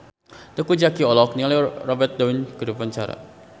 Teuku Zacky olohok ningali Robert Downey keur diwawancara